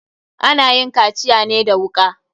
Ana yin kaciya ne da wuka.